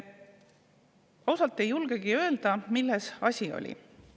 Osalt ei julgegi öelda, milles oli asi.